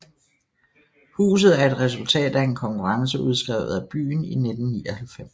Huset er et resultat af en konkurrence udskrevet af byen i 1999